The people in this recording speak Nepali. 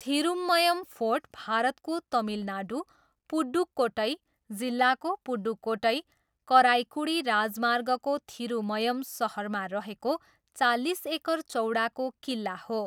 थिरुमयम फोर्ट भारतको तमिलनाडु, पुडुक्कोट्टई जिल्लाको पुडुक्कोट्टई, कराइकुडी राजमार्गको थिरुमयम सहरमा रहेको चालिस एकर चौडाको किल्ला हो।